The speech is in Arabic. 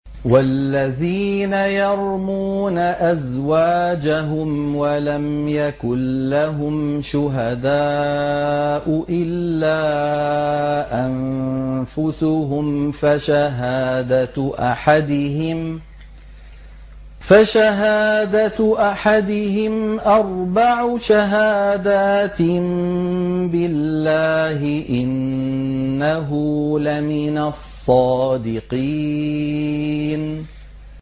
وَالَّذِينَ يَرْمُونَ أَزْوَاجَهُمْ وَلَمْ يَكُن لَّهُمْ شُهَدَاءُ إِلَّا أَنفُسُهُمْ فَشَهَادَةُ أَحَدِهِمْ أَرْبَعُ شَهَادَاتٍ بِاللَّهِ ۙ إِنَّهُ لَمِنَ الصَّادِقِينَ